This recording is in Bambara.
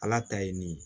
Ala ta ye nin ye